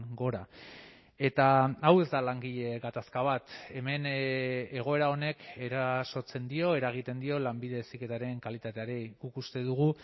gora eta hau ez da langile gatazka bat hemen egoera honek erasotzen dio eragiten dio lanbide heziketaren kalitateari guk uste dugu